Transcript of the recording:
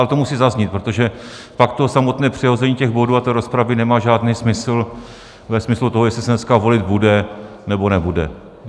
Ale to musí zaznít, protože pak to samotné přehození těch bodů a té rozpravy nemá žádný smysl ve smyslu toho, jestli se dneska volit bude, nebo nebude.